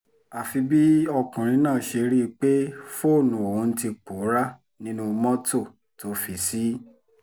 àfi bí ọkùnrin náà ṣe rí i pé fóònù òun ti pòórá nínú mọ́tò tó fi ṣí